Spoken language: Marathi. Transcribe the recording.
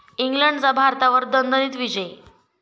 इंग्लंडचा भारतावर दणदणीत विजय